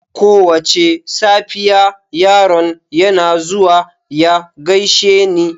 Kowace safiya, yaron yana zuwa ya gaishe ni.